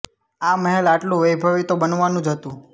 આ મહેલ આટલું વૈભવી તો બનવાનું જ હતું